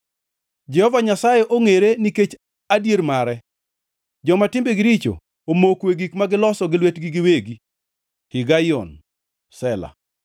Jehova Nyasaye ongʼere nikech adier mare; joma timbegi richo omoko e gik ma giloso gi lwetgi giwegi. Higaion. Sela